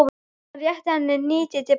Hann rétti henni hnýtið til baka.